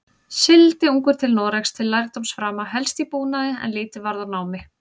Sigldi ungur til Noregs til lærdómsframa, helst í búnaði, en lítið varð úr námi.